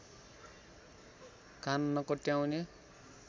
कान नकोट्याउने